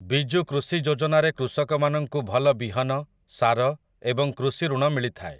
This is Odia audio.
ବିଜୁ କୃଷି ଯୋଜନାରେ କୃଷକ ମାନଙ୍କୁ ଭଲ ବିହନ, ସାର ଏବଂ କୃଷିଋଣ ମିଳିଥାଏ